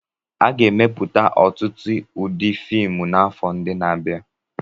A ga-emepụta ọtụtụ ụdị fiimu n'afọ ndị na-abịa.